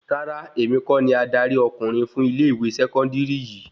Rárá, èmi kọ́ ni adarí ọkùnrin fún ilẹ ìwé sẹkọndiri yìí